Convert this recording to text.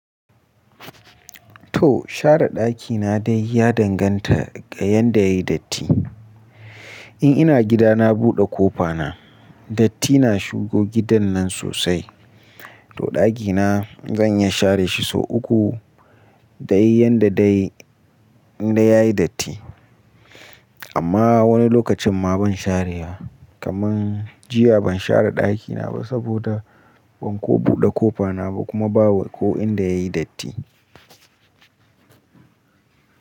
To share daki na dai ya danganta ga yanda yayi datti. In ina gida na buɗe kofa na, datti na shigo gidan nan sosai. To daki na zan iya share shi sau uku dai yanda dai indai yayi datti. Amma wani lokacin ma ban share wa. Kaman jiya ban share daki na ba saboda ban ko buɗe kofa na ba kuma ba ko inda yayi datti.